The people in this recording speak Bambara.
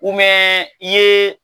i ye